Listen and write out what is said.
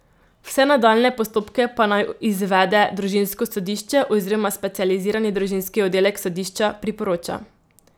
Vse nadaljnje postopke pa naj izvede družinsko sodišče oziroma specializirani družinski oddelek sodišča, priporoča.